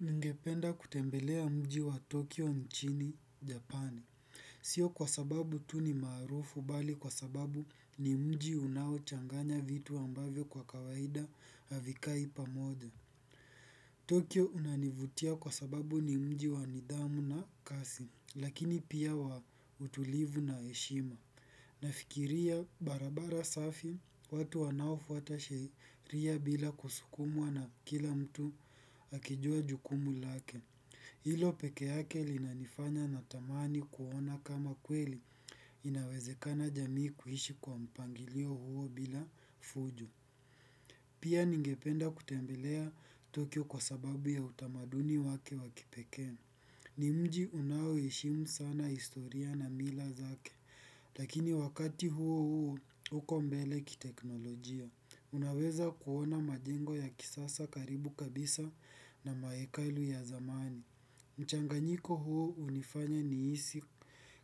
Ningependa kutembelea mji wa Tokyo nchini Japani. Sio kwa sababu tu ni maarufu bali kwa sababu ni mji unao changanya vitu ambavyo kwa kawaida havikai pamoja. Tokyo unanivutia kwa sababu ni mji wa nidhamu na kasi. Lakini pia wa utulivu na heshima. Nafikiria barabara safi, watu wanaofuata sheria bila kusukumwa na kila mtu akijua jukumu lake. Hilo pekeyake linanifanya natamani kuona kama kweli inawezekana jamii kuishi kwa mpangilio huo bila fujo. Pia ningependa kutembelea tokyo kwa sababu ya utamaduni wake wa kipeke. Ni mji unaoheshimu sana historia na mila zake, lakini wakati huo huo uko mbele ki teknolojia. Unaweza kuona majengo ya kisasa karibu kabisa na mahekalu ya zamani. Mchanganyiko huo hunifanya nihisi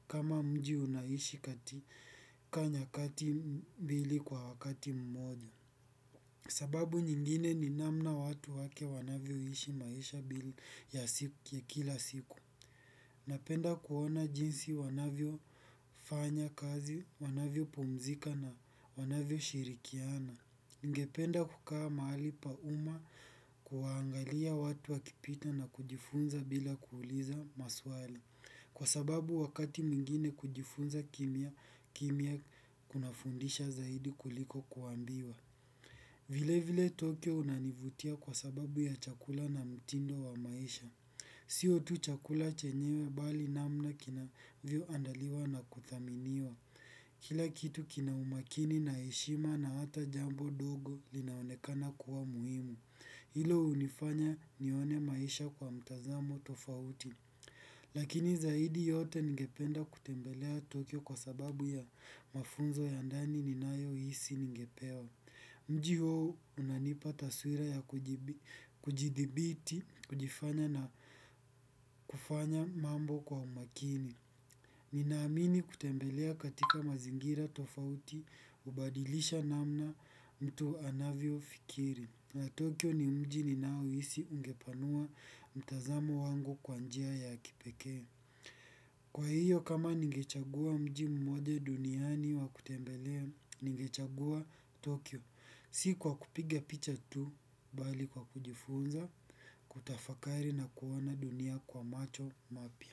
kama mji unaishi katika nyakati mbili kwa wakati mmoja. Sababu nyingine ni namna watu wake wanavyoishi maisha mbele ya siku ya kila siku. Napenda kuona jinsi wanavyo fanya kazi, wanavyo pumzika na wanavyo shirikiana. Ningependa kukaa mahali pa umma kuwa angalia watu wakipita na kujifunza bila kuuliza maswali. Kwa sababu wakati mwingine kujifunza kimya kunafundisha zaidi kuliko kuambiwa. Vile vile Tokyo unanivutia kwa sababu ya chakula na mtindo wa maisha. Sio tu chakula chenyewe bali namna kinavyo andaliwa na kuthaminiwa. Kila kitu kina umakini na heshima na hata jambo dogo linaonekana kuwa muhimu. Hilo hunifanya nione maisha kwa mtazamo tofauti. Lakini zaidi yote ningependa kutembelea Tokyo kwa sababu ya mafunzo ya ndani ninayo hisi ningepewa. Mji huo unanipa taswira ya kujidhibiti, kujifanya na kufanya mambo kwa umakini. Ninaamini kutembelea katika mazingira tofauti hubadilisha namna mtu anavyo fikiri. Tokyo ni mji ninaohisi ungepanua mtazamo wangu kwa njia ya kipekea. Kwa hiyo, kama ningechagua mji mmoja duniani wa kutembelea, ningechagua Tokyo. Si kwa kupiga picha tu, bali kwa kujifunza, kutafakari na kuona dunia kwa macho mapya.